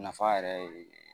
Nafa yɛrɛ ye